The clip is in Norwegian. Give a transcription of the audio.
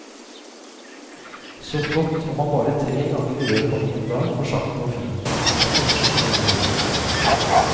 Så flott om man bare tre ganger i løpet av en dag får sagt noe fint, vakkert eller klokt.